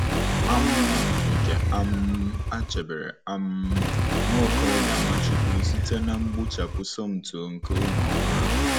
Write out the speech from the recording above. um Nke um a chebere um nwa okorobịa Nwachukwu site na mgbuchapụ Somto nke ụmụ ọhụrụ.